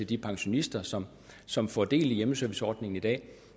de pensionister som som får del i hjemmeserviceordningen i dag